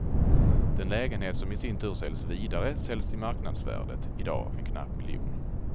Den lägenhet som i sin tur säljs vidare säljs till marknadsvärdet, i dag en knapp miljon.